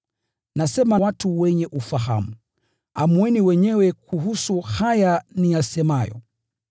Nasema watu wenye ufahamu, amueni wenyewe kuhusu haya niyasemayo.